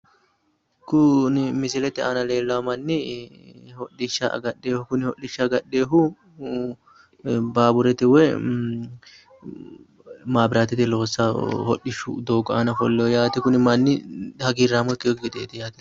Kuni misilete aana leellawo manni hodhishsha agadhewo kuni hodhishsha agadheyoohu baawurete woy maabiraatete loossawo hodhishu doogo aana ofolleyo yaate kuni manni hagirraamo ikkeyookki gedeeti yaate.